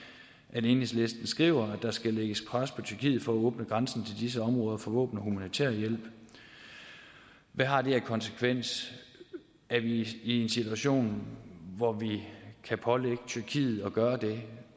at enhedslisten skriver at der skal lægges pres på tyrkiet for at åbne grænsen til disse områder for våben og humanitær hjælp hvad har det af konsekvens er vi i en situation hvor vi kan pålægge tyrkiet at gøre det